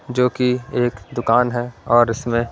जो कि एक दुकान है और इसमें--